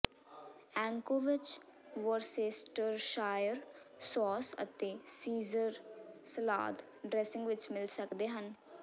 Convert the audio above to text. ਐਂਕੋਵਿਚ Worcestershire sauce ਅਤੇ Caesar salad dressing ਵਿਚ ਮਿਲ ਸਕਦੇ ਹਨ